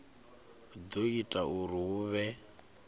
do ita uri hu vhe